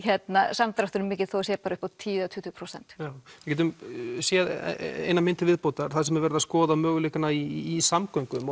samdrátturinn mikill þó það sé bara upp á tíu til tuttugu prósent já við getum séð eina mynd til viðbótar þar sem er verið að skoða mörguleikana í samgöngum